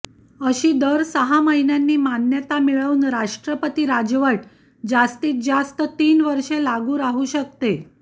अशी दर सहा महिन्यांनी मान्यता मिळवून राष्ट्रपती राजवट जास्तीत जास्त तीन वर्षे लागू राहू शकते